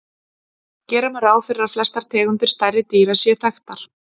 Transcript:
gera má ráð fyrir að flestar tegundir stærri dýra séu þekktar